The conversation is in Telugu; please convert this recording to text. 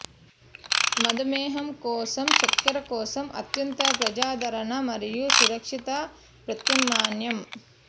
మధుమేహం కోసం చక్కెర కోసం అత్యంత ప్రజాదరణ మరియు సురక్షిత ప్రత్యామ్నాయం